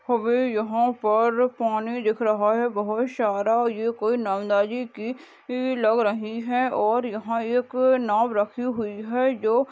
हमे यहाँ पर पानी दिख रह है बहुत सारा ये कोई लग रही है और यहाँ एक नाव रखी हुई है जो --